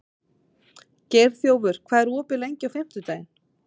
Geirþjófur, hvað er opið lengi á fimmtudaginn?